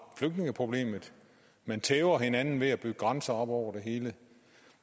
flygtningeproblemet man tæver hinanden ved at bygge grænser op over det hele